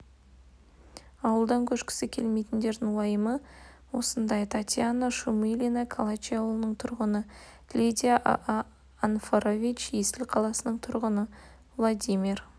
ауылдан көшкісі келмейтіндердің уайымы осындай татьяна шумилина калачи ауылының тұрғыны лидия анфорович есіл қаласының тұрғыны владимир